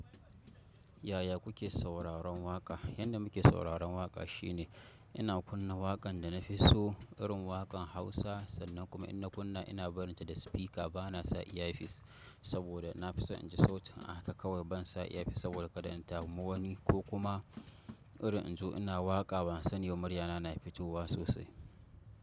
Yaya kuke sauraron waƙa? Yanda muke sauraron waƙa shine ina kunna waƙan da na fi so, irin waƙan Hausa sannan kuma ina kunna ina barinta da spika bana sa iya fis saboda na fi son in ji sautin a haka kawai ban sa iya fis saboda kada in damu wani ko kuma irin in zo ina waƙa ban sani ba muryana na fitowa sosai.